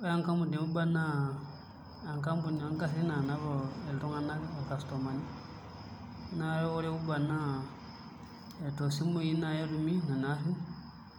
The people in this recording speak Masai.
Ore enkampuni e Uber naa enkampuni oongarrin naanap iltung'anak irkastomani naa oreUber naa toosimui naai etumi nena arrin amu